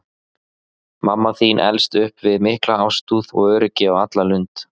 Mamma þín elst upp við mikla ástúð og öryggi á alla lund.